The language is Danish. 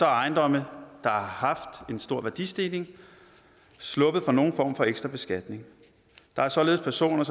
ejendomme der har haft en stor værdistigning sluppet for nogen form for ekstra beskatning der er således personer